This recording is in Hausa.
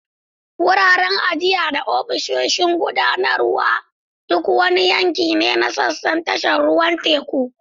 Wuraren ajiya, ajiya, da ofisoshin gudanarwa duk wani yanki ne na sassan tashar ruwan teku.